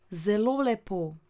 Zelo lepo!